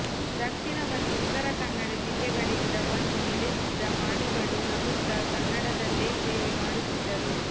ದಕ್ಷಿಣ ಮತ್ತು ಉತ್ತರ ಕನ್ನಡ ಜಿಲ್ಲೆಗಳಿಂದ ಬಂದು ನೆಲೆಸಿದ್ದ ಮಾಣಿಗಳು ನಗುತ್ತ ಕನ್ನಡದಲ್ಲೆ ಸೇವೆ ಮಾಡುತ್ತಿದ್ದರು